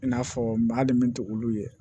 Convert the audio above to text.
I n'a fɔ maa hali min tɛ olu ye